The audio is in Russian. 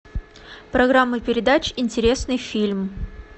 программа передач интересный фильм